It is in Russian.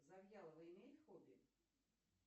завьялова имеет хобби